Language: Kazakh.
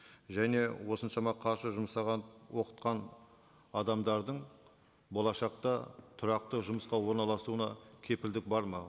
және осыншама қаржы жұмсаған оқытқан адамдардың болашақта тұрақты жұмысқа орналасуына кепілдік бар ма